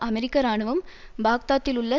அமெரிக்க இராணுவம் பாக்தாத்திலுள்ள